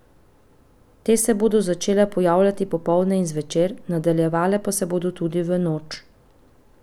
Te se bodo začele pojavljati popoldne in zvečer, nadaljevale pa se bodo tudi v noč.